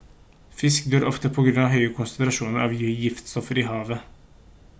fisk dør ofte på grunn av høye konsentrasjoner av giftstoffer i hav-vannet